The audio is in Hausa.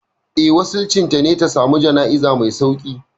Eh, wasicin ta ne ta samu jana'iza mai sauƙi.